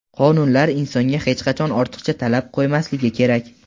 qonunlar insonga hech qachon ortiqcha talab qoʼymasligi kerak.